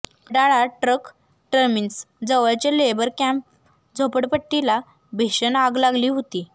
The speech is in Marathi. वडाळा ट्रक टर्मिन्स जवळच्या लेबर कॅम्प झोपडपट्टीला भीषण आग लागली होती